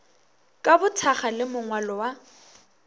ka bothakga le mongwalo wa